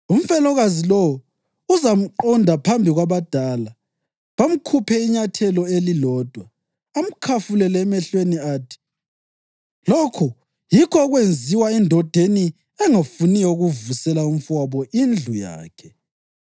umfelokazi lowo uzamqonda phambi kwabadala, bamkhuphe inyathelo elilodwa, amkhafulele emehlweni athi, ‘Lokhu yikho okwenziwa endodeni engafuniyo ukuvusela umfowabo indlu yakhe.’